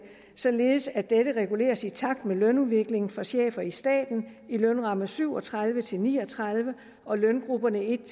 således at dette reguleres i takt med lønudviklingen for chefer i staten i lønramme syv og tredive til ni og tredive og løngrupperne en